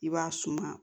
I b'a suma